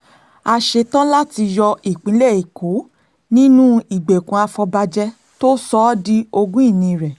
a ṣetán láti yọ ìpínlẹ̀ èkó nínú ìgbèkùn àfọ̀bàjẹ́ tó sọ ọ́ di ogún ìní rẹ̀